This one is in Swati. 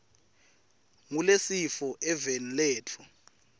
ngulesifo eveni letfu